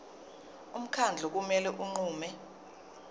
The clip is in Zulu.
umkhandlu kumele unqume